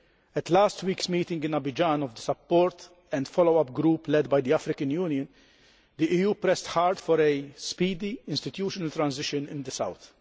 At last week's meeting in Abidjan of the support and follow up group led by the African Union, the EU pressed hard for a speedy institutional transition in the south.